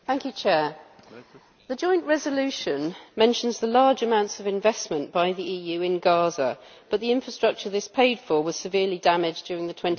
The joint resolution mentions the large amounts of investment by the EU in Gaza, but the infrastructure this paid for was severely damaged during the 2014 conflict.